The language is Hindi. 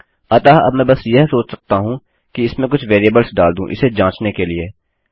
अतः अब मैं बस यह सोच सकता हूँ कि इसमें कुछ वेरिएबल्स डाल दूँ इसे जाँचने के लिए